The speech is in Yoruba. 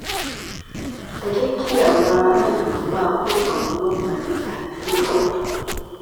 ẹ jẹ́ kí àwọn ará ìlú má pọ́n àwọn ọlọ́pàá lé àrífín pọ̀